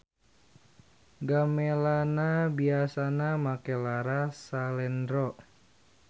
Gamelanna biasana make laras salendro.